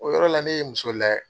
O yɔrɔ la ne ye muso layɛ.